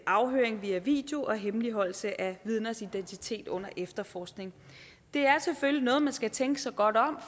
afhøring via video og hemmeligholdelse af vidners identitet under efterforskning det er selvfølgelig noget hvor man skal tænke sig godt om